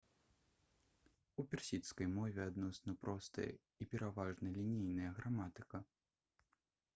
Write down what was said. у персідскай мове адносна простая і пераважна лінейная граматыка